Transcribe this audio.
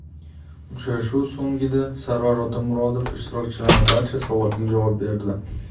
Uchrashuv so‘ngida Sarvar Otamuratov ishtirokchilarning barcha savollariga javob berdi.